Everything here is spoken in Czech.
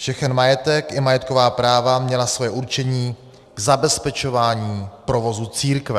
Všechen majetek i majetková práva měly svoje určení k zabezpečování provozu církve.